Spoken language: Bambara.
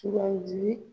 Sugandili